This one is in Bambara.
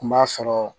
Kun b'a sɔrɔ